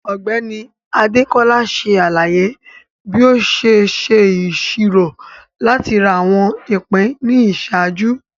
Ọgbẹni Adekola ṣe alaye bi o ṣe ṣoro lati ra awọn ipin ni iṣaaju.